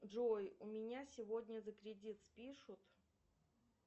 джой у меня сегодня за кредит спишут